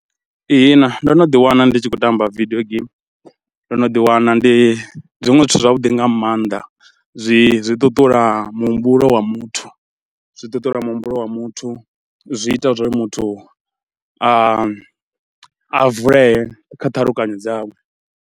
Ihina ndo no ḓiwana ndi tshi khou tamba video game, ndo no ḓiwana ndi zwiṅwe zwithu zwavhuḓi nga maanḓa, zwi zwi ṱuṱula muhumbulo wa muthu, zwi ṱuṱula muhumbulo wa muthu, zwi ita zwa uri muthu a a vulee kha ṱhalukanyo dzawe.